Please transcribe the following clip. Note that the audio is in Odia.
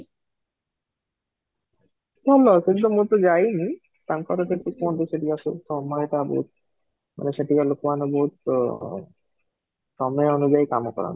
ଭଲ ସେଠି ତ ମୁଁ ତ ଯାଇନି, ତାଙ୍କର କେତେ କ'ଣ ସେଠିକାର ମାନେ ମାନେ ସେଠିକାର ଲୋକ ମାନେ ବହୁତ ଅ ସମୟ ଅନୁଯାଇ କାମ କରନ୍ତି